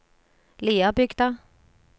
Liabygda